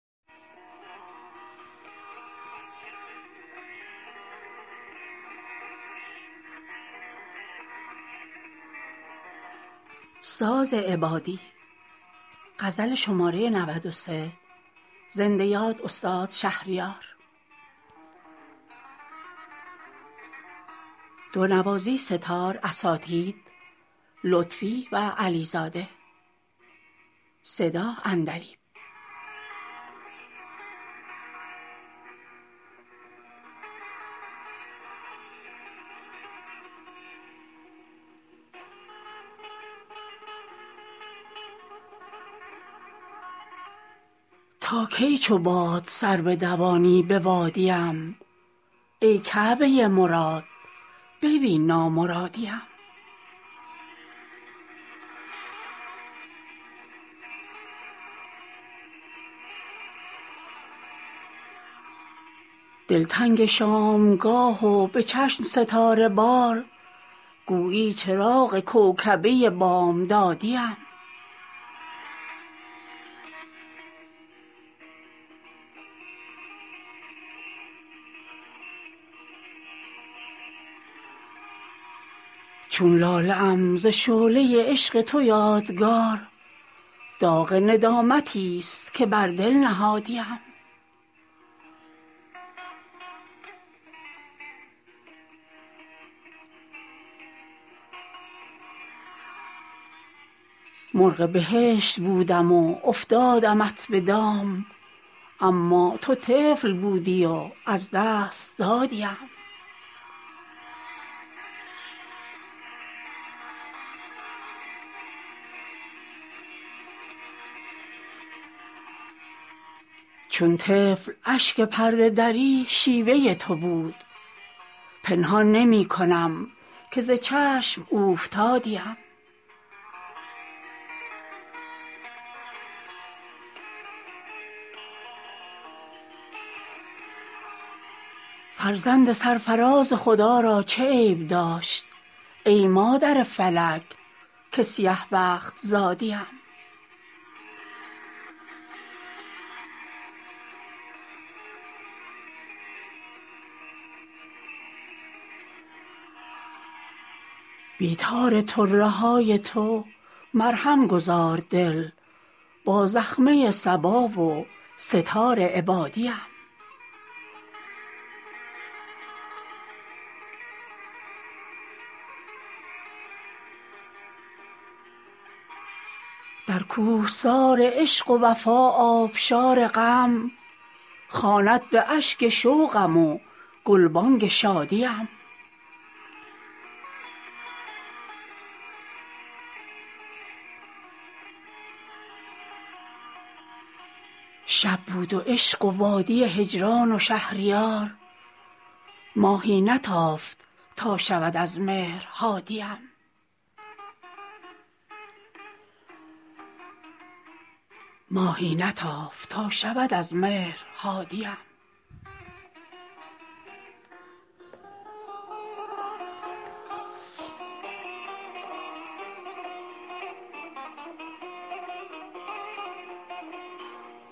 تا کی چو باد سر بدوانی به وادی ام ای کعبه مراد ببین نامرادی ام دلتنگ شامگاه و به چشم ستاره بار گویی چراغ کوکبه بامدادی ام چون لاله ام ز شعله عشق تو یادگار داغ ندامتی است که بر دل نهادی ام دیوانه دل به حلقه زلف تو بسته بود چون شد پری که سلسله از پا گشادی ام رفتی به کوی دیگر و بردی مرا ز یاد من هم روم به گور که دیگر زیادی ام مرغ بهشت بودم و افتادمت به دام اما تو طفل بودی و از دست دادی ام چون طفل اشک پرده دری شیوه تو بود پنهان نمی کنم که ز چشم اوفتادی ام من درس عشق جز خط سبزی نخوانده ام سرمشق آبرویی که به این بی سوادی ام گفتی خمار عشق به تریاق صبر کش من خود به این کشنده بی پیر عادی ام فرزند سرفراز خدا را چه عیب داشت ای مادر فلک که سیه بخت زادی ام توفان عشق هرچه تواند بگو بکن شمعم ولی به حجله فانوس بادی ام بی تار طره های تو مرهم گذار دل با زخمه صبا و سه تار عبادی ام در کوهسار عشق و وفا آبشار غم خواند به اشک شوقم و گلبانک شادی ام با این خط شکسته قلم ها دود به سر در جست وجوی نسخه شعر مدادی ام شب بود و عشق و وادی هجران و شهریار ماهی نتافت تا شود از مهر هادی ام